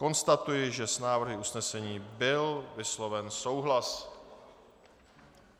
Konstatuji, že s návrhy usnesení byl vysloven souhlas.